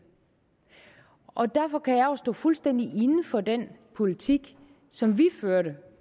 og derfor kan jeg jo også stå fuldstændig inde for den politik som vi